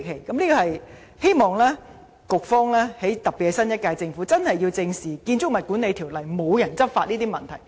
我希望局方特別是新一屆政府正視《條例》無人執法的問題。